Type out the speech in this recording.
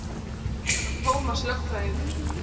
Þetta var Tómas lögfræðingur.